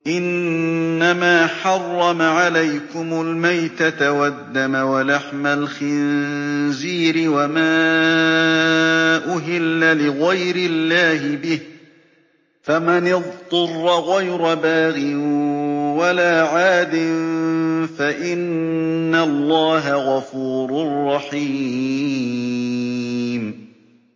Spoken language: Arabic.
إِنَّمَا حَرَّمَ عَلَيْكُمُ الْمَيْتَةَ وَالدَّمَ وَلَحْمَ الْخِنزِيرِ وَمَا أُهِلَّ لِغَيْرِ اللَّهِ بِهِ ۖ فَمَنِ اضْطُرَّ غَيْرَ بَاغٍ وَلَا عَادٍ فَإِنَّ اللَّهَ غَفُورٌ رَّحِيمٌ